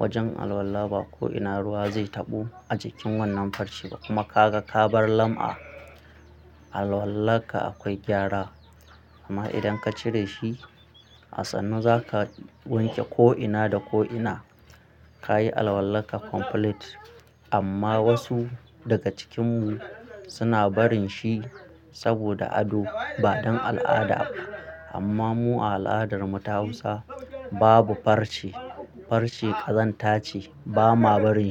wajen alwala ba ko ina ruwa zai taɓo a jikin wannan farce kuma kaga ka bar lam'a. Alwallarka akwai gyara amma idan ka cire shi a sannu zaka wanke ko ina da ko ina kayi alwallarka complete amma wasu daga cikinmu suna barin shi saboda ado ba don al'ada ba. Amma mu a al'adar mu ta Hausa babu farce, farce ƙazanta ce ba ma bari.